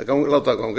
að láta það ganga eftir en